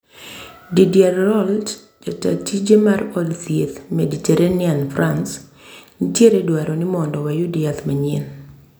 Didier Raoult , jatatije mar od thieth maditerranian, frans " nitieredwaro nimondo wayud yath manyien"